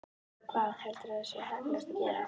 Hvað, hvað heldurðu að sé heppilegast að gera?